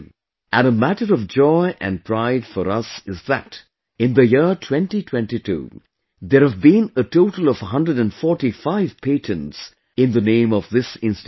And a matter of joy and pride for us is that in the year 2022, there have been a total of 145 patents in the name of this institute